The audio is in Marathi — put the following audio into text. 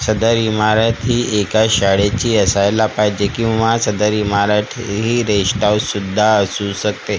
सदर इमारत ही एका शाळेची असायला पाहिजे किंवा सदर इमारत हि रेसट हाउस सुद्धा असू शकते